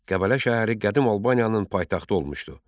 Qəbələ şəhəri qədim Albaniyanın paytaxtı olmuşdu.